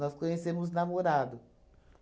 conhecemos namorado.